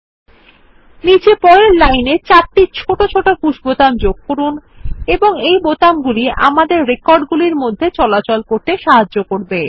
ও নীচে পরের লাইন এ ৪ টি ছোট পুশ বোতাম যোগ করুন এই বোতাম গুলি আমাদের রেকর্ড গুলির মধ্যে চলাচল করতে সাহায্য করে